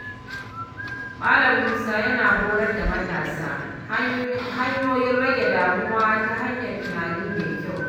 Malam Musa yana horar da matasa hanyoyin rage damuwa ta hanyar tunani mai kyau.